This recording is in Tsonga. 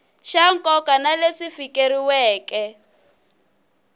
xa nkoka na leswi fikeleriweke